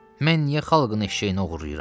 Mən niyə xalqın eşşəyini oğurlayıram?